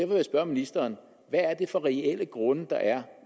vil jeg spørge ministeren hvad er det for reelle grunde der er